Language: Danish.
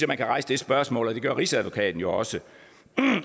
man kan rejse det spørgsmål og det gør rigsadvokaten jo også